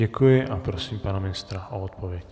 Děkuji a prosím pana ministra o odpověď.